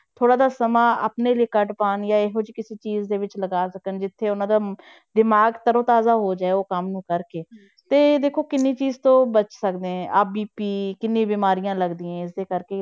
ਥੋੜ੍ਹਾ ਜਿਹਾ ਸਮਾਂ ਆਪਣੇ ਲਈ ਕੱਢ ਪਾਉਣ ਜਾਂ ਇਹੋ ਜਿਹੀ ਕਿਸੇ ਚੀਜ਼ ਦੇ ਵਿੱਚ ਲਗਾ ਸਕਣ ਜਿੱਥੇ ਉਹਨਾਂ ਦਾ ਦਿਮਾਗ ਤਰੋ ਤਾਜ਼ਾ ਹੋ ਜਾਏ ਉਹ ਕੰਮ ਨੂੰ ਕਰਕੇ ਤੇ ਦੇਖੋ ਕਿੰਨੀ ਚੀਜ਼ ਤੋਂ ਬਚ ਸਕਦੇ ਆਹ BP ਕਿੰਨੀ ਬਿਮਾਰੀਆਂ ਲੱਗਦੀਆਂ ਹੈ ਇਸੇ ਕਰਕੇ।